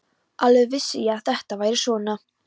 Alveg vissi ég að þetta færi svona!